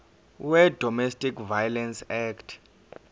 wedomestic violence act